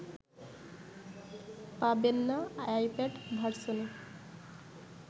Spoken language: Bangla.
পাবেন না আইপ্যাড ভার্সনে